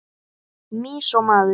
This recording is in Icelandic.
Mýs og maður.